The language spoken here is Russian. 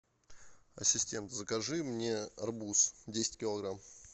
ассистент закажи мне арбуз десять килограмм